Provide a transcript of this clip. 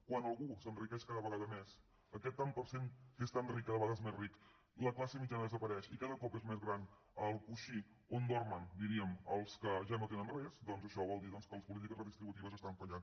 quan algú s’enriqueix cada vegada més aquest tant per cent que és tan ric cada vegada és més ric la classe mitjana desapareix i cada cop és més gran el coixí on dormen diríem els que ja no tenen res doncs això vol dir que les polítiques redistributives estan fallant